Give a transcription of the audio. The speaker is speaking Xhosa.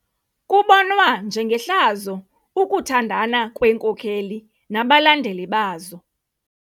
Kubonwa njengehlazo ukuthandana kweenkokeli nabalandeli bazo.